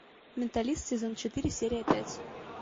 менталист сезон четыре серия пять